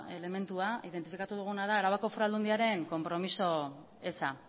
elementua identifikatu duguna da arabako foru aldundiaren konpromiso eza